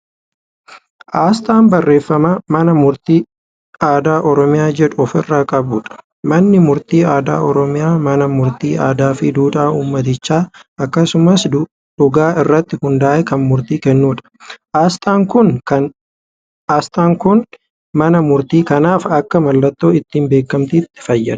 Aasxaa barraaffama "mana murtii aadaa oromiyaa" jedhu ofirraa qabuudha. manni murtii aadaa oromiyaa mana murtii aadaa Fi duudhaa ummatichaa akkasumaas dhugaa irratti hundaa'ee Kan murtii kennuudha. aasxaan Kuni mana murtii kanaaf akka mallattoo ittiin beekamaattii fayyada.